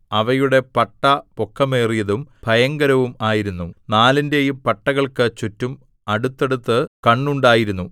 അവയുടെ പട്ട പൊക്കമേറിയതും ഭയങ്കരവും ആയിരുന്നു നാലിന്റെയും പട്ടകൾക്കു ചുറ്റും അടുത്തടുത്ത് കണ്ണുണ്ടായിരുന്നു